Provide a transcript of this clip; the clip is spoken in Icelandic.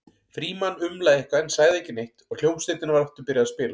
Frímann umlaði eitthvað en sagði ekki neitt og hljómsveitin var aftur byrjuð að spila.